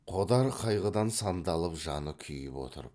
қодар қайғыдан сандалып жаны күйіп отырып